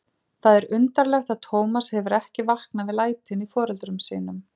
Það er undarlegt að Tómas hefur ekki vaknað við lætin í foreldrum sínum.